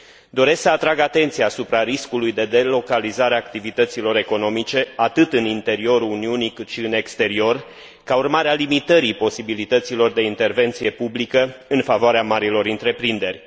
Doresc să atrag atenția asupra riscului de delocalizare a activităților economice atât în interiorul Uniunii, cât și în exterior, ca urmare a limitării posibilităților de intervenție publică în favoarea marilor întreprinderi.